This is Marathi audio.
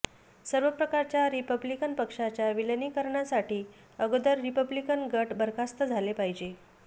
सर्व प्रकारच्या रिपब्लिकन पक्षाच्या विलीनीकरणासाठी अगोदर रिपब्लिकन गट बरखास्त झाले पाहिजे